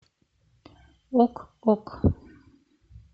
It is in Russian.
ок ок